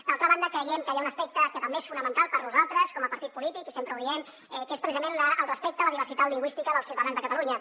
d’altra banda creiem que hi ha un aspecte que també és fonamental per nosaltres com a partit polític i sempre ho diem que és precisament el respecte a la diversitat lingüística dels ciutadans de catalunya